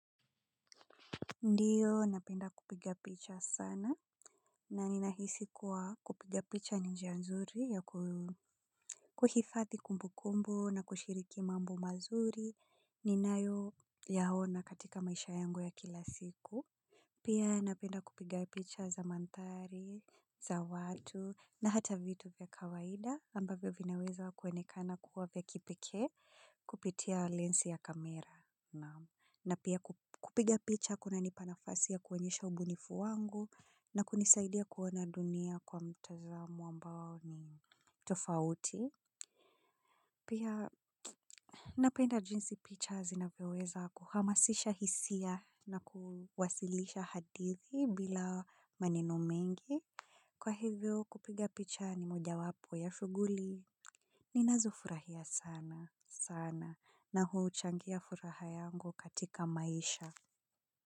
Ndiyo napenda kupiga picha sana na ninahisi kuwa kupiga picha ni njia nzuri ya kuhifadhi kumbu kumbu na kushiriki mambo mazuri ninayoyaona katika maisha yangu ya kila siku. Pia napenda kupiga picha za mandhari, za watu na hata vitu vya kawaida ambavyo vinaweza kuonekana kuwa vya kipekee kupitia lensi ya kamera. Na pia kupiga picha kunanipa nafasi ya kuonyesha ubunifu wangu na kunisaidia kuona dunia kwa mtazamo ambao ni tofauti. Pia napenda jinsi picha zinaweweza kuhamasisha hisia na kuwasilisha hadithi bila maneno mengi. Kwa hivyo kupiga picha ni moja wapo ya shughuli. Ninazo furahia sana sana na huchangia furaha yangu katika maisha. Kwa hiyo.